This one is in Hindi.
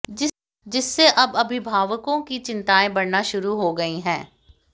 जिससे अब अभिभावकों की चिंताएं बढ़ना शुरू हो गई है